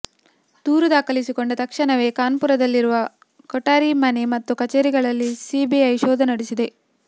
ದೂರು ದಾಖಲಿಸಿಕೊಂಡ ತಕ್ಷಣವೇ ಕಾನ್ಪುರದಲ್ಲಿರುವ ಕೊಠಾರಿ ಮನೆ ಮತ್ತು ಕಚೇರಿಗಳಲ್ಲಿ ಸಿಬಿಐ ಶೋಧ ನಡೆಸಿದೆ